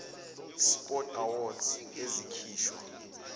sport awards ezikhishwa